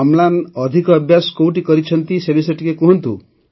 ଅମ୍ଳାନ ଅଧିକ ଅଭ୍ୟାସ କୋଉଠି କରିଛନ୍ତି ସେ ବିଷୟରେ ଟିକେ କହନ୍ତୁ